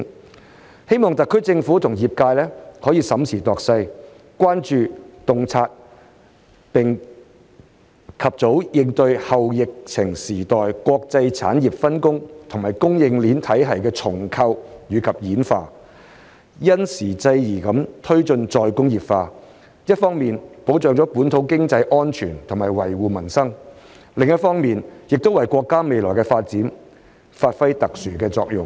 我希望特區政府與業界審時度勢，關注、洞察並及早應對"後疫情時代"國際產業分工和供應鏈體系的重構與演化，因時制宜地推進再工業化，一方面保障本土經濟安全和維護民生，另一方面亦為國家未來的發展發揮特殊的作用。